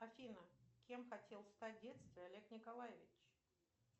афина кем хотел стать в детстве олег николаевич